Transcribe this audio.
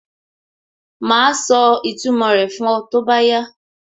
Màá sọ ìtumò rẹ̀ fún ọ tó bá yá